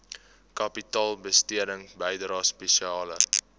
kapitaalbesteding bydrae spesiale